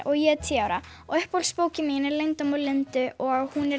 og ég er tíu ára og uppáhaldsbókin mín er leyndarmál Lindu